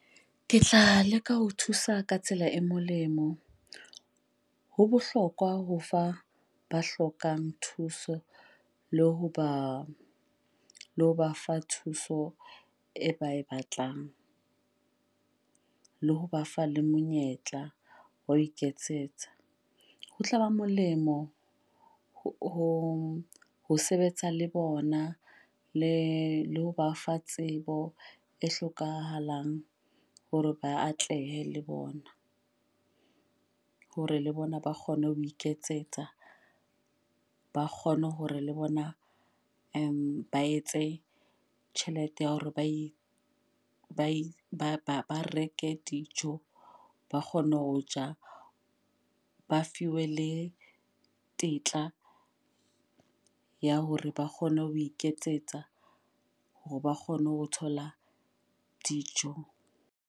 Ke tla leka ho thusa ka tsela e molemo. Ho bohlokwa ho fa ba hlokang thuso le ho ba le ho ba fa thuso e ba e batlang. Le ho ba fa le monyetla wa iketsetsa. Ho tlaba molemo ho ho sebetsa le bona le le ho ba fa tsebo e hlokahalang hore ba atlehe le bona. Hore le bona ba kgone ho iketsetsa. Ba kgone hore le bona ba etse tjhelete ya hore ba e ba ba reke dijo, ba kgone ho ja, ba fiwe le tetla ya hore ba kgone ho iketsetsa hore ba kgone ho thola dijo.